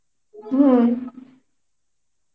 হম